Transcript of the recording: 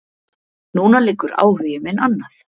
Núna liggur áhugi minn annað.